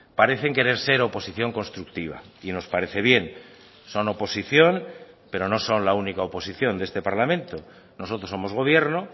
parecen querer ser oposición constructiva y nos parece bien son oposición pero no son la única oposición de este parlamento nosotros somos gobierno